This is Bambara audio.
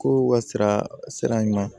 Ko u ka sira ɲuman